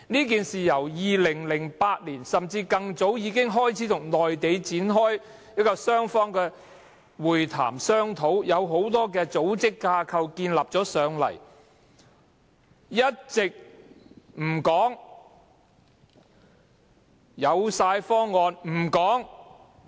政府由2008年甚至更早之前，已開始與內地展開雙方會談，商討這件事，很多組織架構已建立了，卻一直不說；具體方案有了，也不透露。